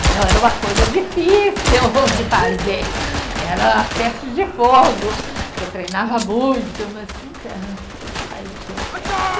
Então era uma coisa difícil de fazer, era teste de fogo, que eu treinava muito, mas nunca, sempre saía, deu certo.